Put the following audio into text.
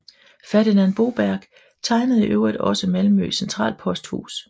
Ferdinand Boberg tegnede i øvrigt også Malmø Centralposthus